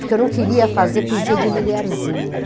Porque eu não queria fazer poesia de mulherzinha.